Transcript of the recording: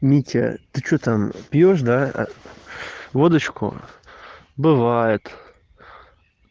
митя ты что там пьёшь да а водочку бывает